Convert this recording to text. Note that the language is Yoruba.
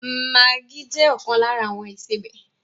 Maggi jẹ ọkan lára àwọn ìsebẹ̀